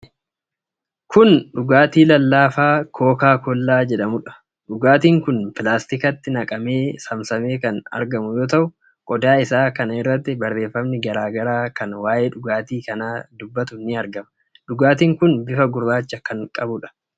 Kun dhugaatii lallaafaa Kookaa Kollaa jedhamudha. Dhugaatiin kun pilaastikatti naqamee saamsamee kan argamu yoo ta'u, qodaa isaa kana irratti barreffami garaa garaa kan waa'ee dhugaatii kanaa dubbatu ni argama. Dhugaatiin kun bifa gurraacha kan qabuudha.